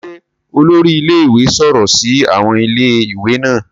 Ṣe olori ilé-ìwé sọrọ si awọn Ilé-ìwé naa